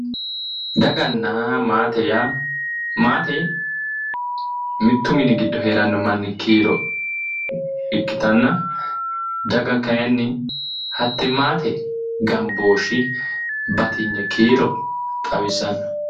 Dagana maate Yaa maate mitu mini giddo heeranno manni kiiro ikkitana daga kayiini hatte maate gambooshi batigni kiiro xawisano